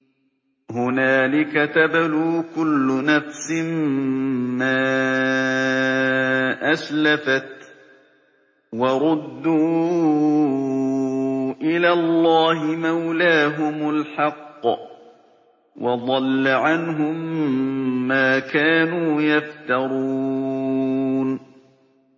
هُنَالِكَ تَبْلُو كُلُّ نَفْسٍ مَّا أَسْلَفَتْ ۚ وَرُدُّوا إِلَى اللَّهِ مَوْلَاهُمُ الْحَقِّ ۖ وَضَلَّ عَنْهُم مَّا كَانُوا يَفْتَرُونَ